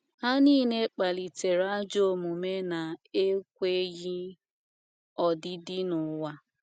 Ha nile kpalitere ajọ omume na - ekweghị odidi n’ụwa.